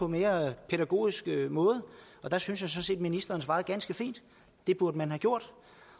mere pædagogisk måde og der synes jeg sådan set at ministeren svarede ganske fint det burde man have gjort